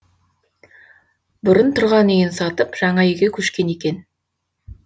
бұрын тұрған үйін сатып жаңа үйге көшкен екен